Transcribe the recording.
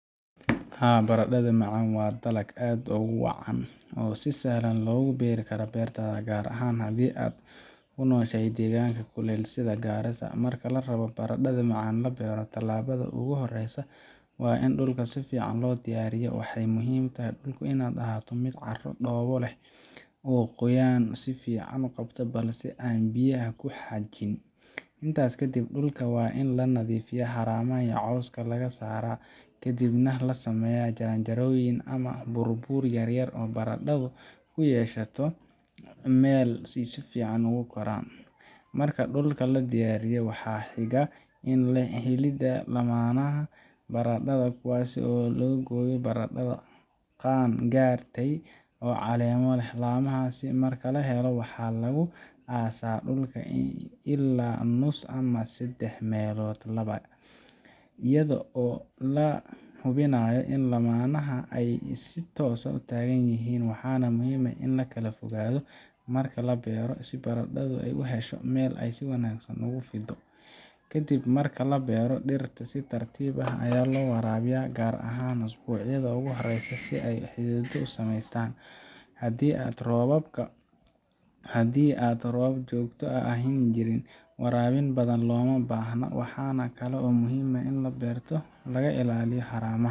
Haa, baradhada macaan waa dalag aad u wanaagsan oo si sahlan loogu beeri karo beertaada, gaar ahaan haddii aad ku nooshahay deegaan kuleyl leh sida Garissa. Marka la rabo in baradhada macaan la beero, tallaabada ugu horreysa waa in dhulka si fiican loo diyaariyo. Waxaa muhiim ah in dhulku ahaado mid carro dhoobo ah leh, oo qoyaan si fiican u qabta balse aan biyaha ku xajin. Intaas ka dib, dhulka waa in la nadiifiyaa, haramaha iyo cawska laga saaraa, kadibna la sameeyaa jaranjarooyin ama buurbuur yar-yar si baradhadu ay u hesho meel ay si fiican ugu koraan. Marka dhulka la diyaariyo, waxa xiga waa helidda laamaha baradhada, kuwaas oo laga gooyo baradhada qaan-gaartay oo caleemo leh. Laamahaas marka la helo, waxaa lagu aasaa dhulka ilaa nus ama saddex-meelood laba, iyadoo la hubinayo in laamaha ay si toosan u taagan yihiin. Waxaa muhiim ah in la kala fogaado marka la beero, si baradhadu u hesho meel ay si wanaagsan ugu fiddo. Kadib marka la beero, dhirta si tartiib ah ayaa loo waraabiyaa, gaar ahaan usbuucyada ugu horreeya si ay xididdo u sameystaan. Haddii roobab joogto ahi jiraan, waraabin badan looma baahna. Waxaa kale oo muhiim ah in beerta laga ilaaliyo haramaha,